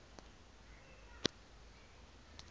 metsi a ka nnang a